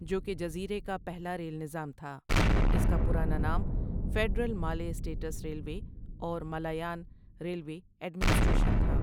جو کہ جزیرے کا پہلا ریل نظام تھا اس کا پرانا نام فیڈرل مالے اسٹیٹس ریلوے اور مالایان ریلوے ایڈمنسٹریشن تھا ۔